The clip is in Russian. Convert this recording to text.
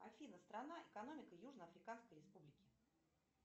афина страна экономика южно африканской республики